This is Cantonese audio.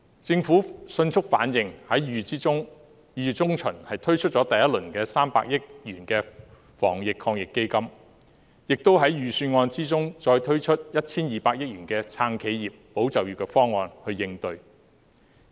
政府迅速反應，在2月中旬推出第一輪300億元的防疫抗疫基金，亦在預算案中再推出 1,200 億元的"撐企業、保就業"方案去應對。